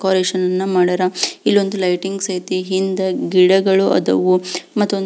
decoration ಅನ್ನ ಮಾಡ್ಯಾರ ಇಲ್ಲೊಂದು ಲೈಟಿಂಗ್ಸ್ ಅಯ್ತಿ ಹಿಂದ ಗಿಡಗಳು ಅದಾವು --